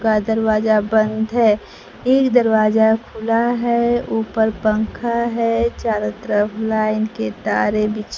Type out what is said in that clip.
का दरवाजा बंद है एक दरवाजा खुला है ऊपर पंखा है चारों तरफ लाइन के तारे बिछी --